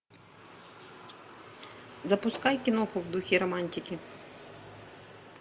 запускай киноху в духе романтики